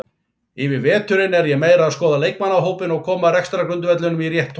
Yfir veturinn er ég meira að skoða leikmannahópinn og koma rekstrargrundvellinum í rétt horf.